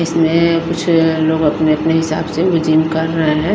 इसमें कुछ लोग अपने-अपने हिसाब से जीम कर रहे हैं।